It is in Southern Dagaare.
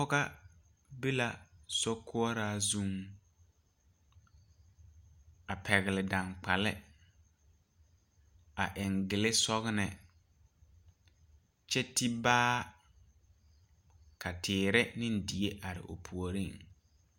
Pɔgega be la sokoɔraa zuŋ ,a pegle dankpale ,a eŋ gile sɔgle kyɛ te baa ka teere ne die are o puori.